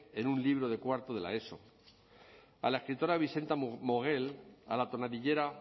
en un libro de cuarto de la eso a la escritora bizenta mogel a la tonadillera